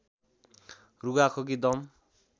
रुघा खोकी दम